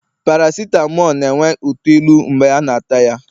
paracitamol na-enwe uto ilu mgbe a na-ata ya